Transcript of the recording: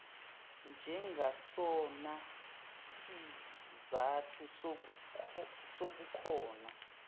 njengasona sizathu sobukhona